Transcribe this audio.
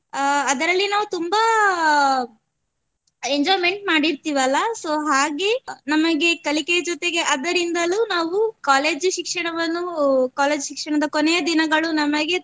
ಅಹ್ ಅದರಲ್ಲಿ ನಾವು ತುಂಬಾ enjoyment ಮಾಡಿರ್ತಿವಲ್ಲ so ಹಾಗೆ ನಮಗೆ ಕಲಿಕೆಯ ಜೊತೆಗೆ ಅದರಿಂದಲು ನಾವು college ಶಿಕ್ಷಣವನ್ನು college ಶಿಕ್ಷಣದ ಕೊನೆಯ ದಿನಗಳು ನಮಗೆ ತುಂಬಾ